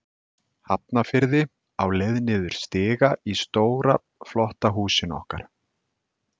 Hafnarfirði, á leið niður stiga í stóra, flotta húsinu okkar.